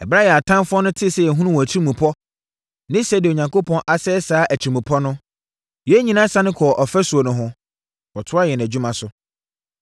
Ɛberɛ a yɛn atamfoɔ tee sɛ yɛahunu wɔn atirimpɔ ne sɛdeɛ Onyankopɔn asɛe saa atirimpɔ no, yɛn nyinaa sane kɔɔ ɔfasuo no ho, kɔtoaa yɛn adwuma so.